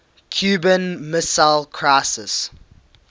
cuban missile crisis